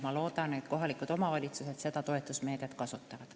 Ma loodan, et kohalikud omavalitsused seda toetusmeedet kasutavad.